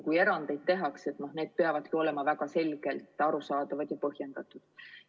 Kui erandeid tehakse, siis need peavad olema väga selgelt arusaadavad ja põhjendatud.